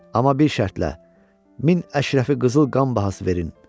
Amma bir şərtlə, min Əşrəfi qızıl qan bahası verin.